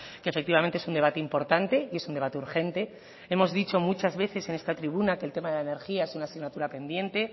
que efectivamente es un debate importante y es un debate urgente hemos dicho muchas veces en esta tribuna que el tema de la energía es una asignatura pendiente